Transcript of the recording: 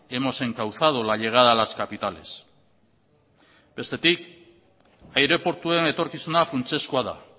hemos encauzado la llegada a las capitales bestetik aireportuen etorkizuna funtsezkoa da